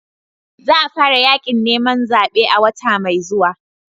Za a fara yakin neman zabe a wata mai zuwa.